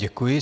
Děkuji.